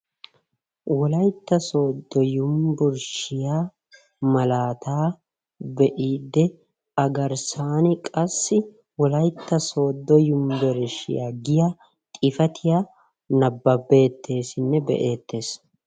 Wolaytta Soodo Yunbburshshiyaa malaata be'iidde A garssan qassi Wolaytta Soodo Yunbburshshiyaa giya xifatiyaa nababbetessinne be'ettees.